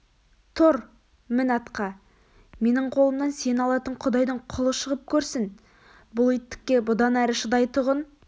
тұр мін атқа менің қолымнан сені алатын құдайдың құлы шығып көрсін бұл иттікке бұдан ары шыдайтұғын